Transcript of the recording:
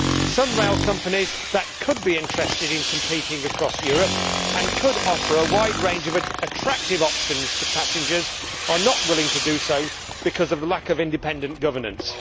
Some rail companies that could be interested in competing across Europe, and could offer a wide range of attractive options to passengers, are not willing to do so because of the lack of independent governance.